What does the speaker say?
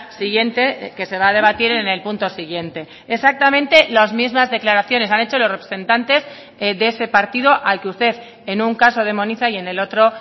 siguiente que se va a debatir en el punto siguiente exactamente las mismas declaraciones han hecho los representantes de ese partido al que usted en un caso demoniza y en el otro